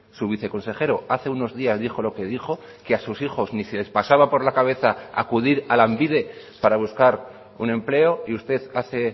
su viceconsejero hace unos días dijo lo que dijo que a sus hijos ni se les pasaba por la cabeza acudir a lanbide para buscar un empleo y usted hace